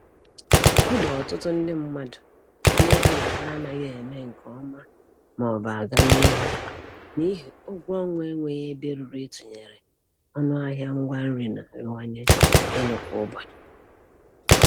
Ọdị ọtụtụ ndị mmadụ na-eche na ha anaghị eme nke ọma maọbụ aganihu n'ihi ụgwọ ọnwa enweghị ebe ruru ịtụnyere ọnụ ahịa ngwa nri na-arịwanye elu kwa ụbọchị